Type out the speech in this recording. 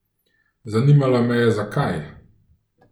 Zanimalo me je, zakaj?